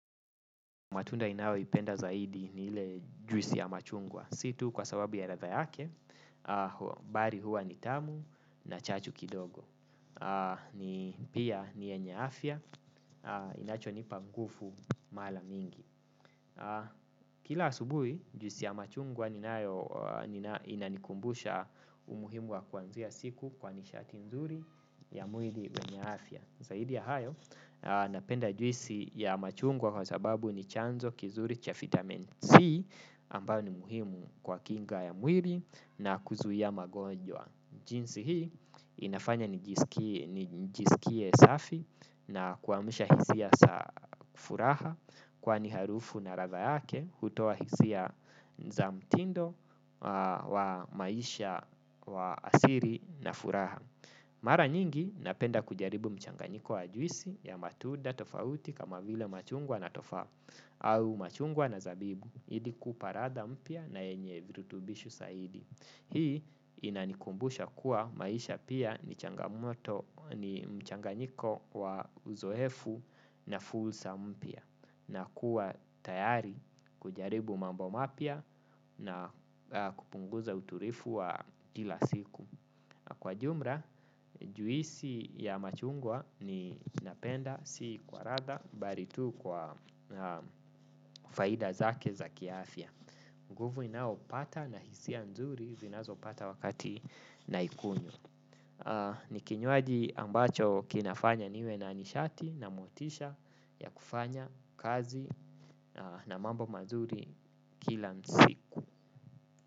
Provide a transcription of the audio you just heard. Matunda ninayoipenda zaidi ni ile juisi ya machungwa. Si tu kwa sababu ya ladha yake, bali huwa ni tamu na chachu kidogo. Pia ni yenye afya, inachonipa nguvu mara mingi. Kila asubuhi, juisi ya machungwa inanikumbusha umuhimu wa kuanzia siku kwa nishati nzuri ya mwili wenye afya. Zaidi ya hayo napenda juisi ya machungwa kwa sababu ni chanzo kizuri cha vitamin C ambayo ni muhimu kwa kinga ya mwili na kuzuia magonjwa. Jinsi hii inafanya nijisikie safi na kuamsha hisia za furaha kwani harufu na ladha yake hutoa hisia za mtindo wa maisha wa asiri na furaha. Mara nyingi napenda kujaribu mchanganyiko wa juisi ya matuda tofauti kama vile machungwa na tofaa au machungwa na zabibu. Ili kupa ladha mpya na yenye virutubishi zaidi. Hii inanikumbusha kuwa maisha pia ni changamoto ni mchanganyiko wa uzoefu na fursa mpya. Na kuwa tayari kujaribu mambo mapya na kupunguza utulivu wa kila siku. Kwa jumla, juisi ya machungwa ni napenda si kwa ladha bali tu kwa faida zake za kiafya. Nguvu ninaopata na hisia nzuru ninaza pata wakati naikunywa. Nikinywaji ambacho kinafanya niwe na nishati na motisha ya kufanya kazi na mambo mazuri kila siku.